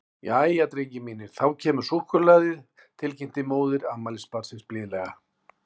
Jæja, drengir mínir, þá kemur súkkulaðið, til kynnti móðir afmælisbarnsins blíðlega.